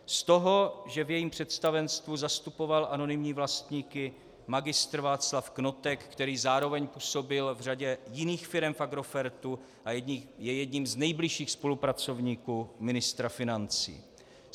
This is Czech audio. Z toho, že v jejím představenstvu zastupoval anonymní vlastníky Mgr. Václav Knotek, který zároveň působil v řadě jiných firem v Agrofertu a je jedním z nejbližších spolupracovníků ministra financí.